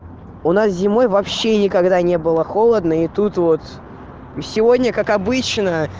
у нас зимой вообще никогда не было холодно и тут вот сегодня как обычно